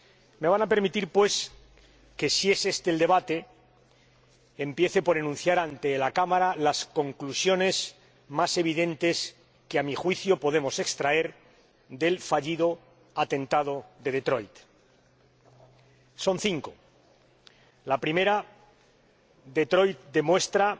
Me van a permitir, pues, que si es este el debate, empiece por enunciar ante la Cámara las conclusiones más evidentes que, a mi juicio, podemos extraer del fallido atentado de Detroit. Son cinco. En primer lugar, Detroit demuestra